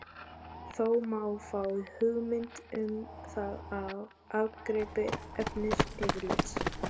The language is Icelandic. Þó má fá hugmynd um það af ágripi efnisyfirlits.